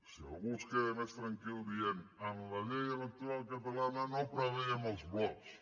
si algú es queda més tranquil dient en la llei electoral catalana no preveiem els blocs